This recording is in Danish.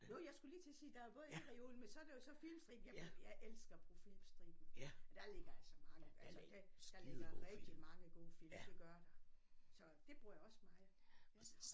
Jo jeg skulle lige til at sige der er både E-reolen men så er der jo så Filmstriben jeg elsker at bruge Filmstriben der ligger altså mange altså det der ligger rigtig mange gode film det gør der så det bruger jeg også meget ja